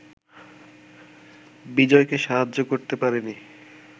বিজয়কে সাহায্য করতে পারেনি